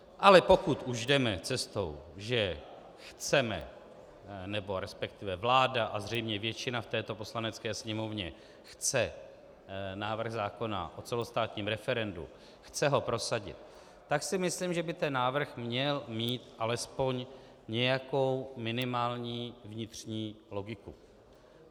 Ale pokud už jdeme cestou, že chceme, nebo respektive vláda a zřejmě většina v této Poslanecké sněmovně chce návrh zákona o celostátních referendu, chce ho prosadit, tak si myslím, že by ten návrh měl mít alespoň nějakou minimální vnitřní logiku.